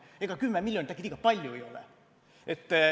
Ega 10 miljonit äkki liiga palju ei ole.